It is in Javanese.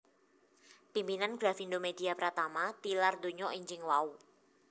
Pimpinan Grafindo Media Pratama tilar dunya enjing wau